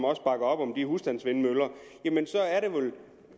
også op om de husstandsvindmøller